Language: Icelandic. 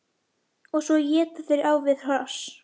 Og svo éta þeir á við hross!